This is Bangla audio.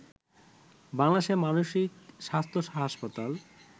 বাংলাদেশে মানসিক স্বাস্থ্য হাসপাতাল